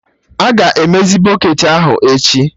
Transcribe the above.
Aga emezi bọketị ahụ echi?